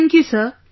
Thank you sir